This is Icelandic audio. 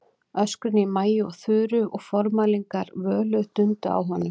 Öskrin í Maju og Þuru og formælingar Völu dundu á honum.